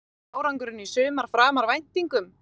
Er ekki árangurinn í sumar framar væntingum?